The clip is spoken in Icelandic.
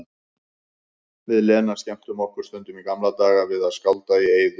Við Lena skemmtum okkur stundum í gamla daga við að skálda í eyður.